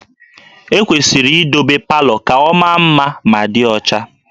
E kwesịrị idobe palọ ka ọ maa mma ma dị ọcha